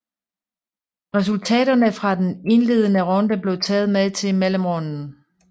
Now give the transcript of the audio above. Resultaterne fra den indledende runde blev taget med til mellemrunden